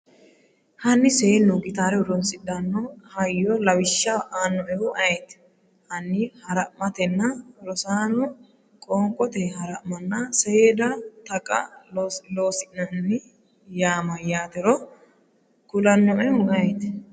Hanni seenu giitare horoonsidhanno hayyo lawishsha aannoehu ayeeti? Hanni hara’matena? Rosaano qoonqote hara’manna seeda Taqa Loossinanni yaa mayyaatero kulannoehu ayeeti?